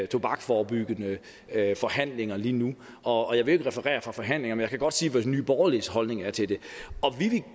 tobaksforebyggende forhandlinger lige nu og jeg vil ikke referere fra forhandlingerne men jeg kan godt sige hvad nye borgerliges holdning er til det og vi vil